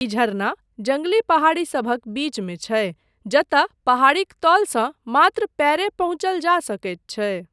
ई झरना जङ्गली पहाड़ीसभक बीचमे छै जतय पहाड़ीक तलसँ मात्र पयर पहुँचल जा सकैत छै।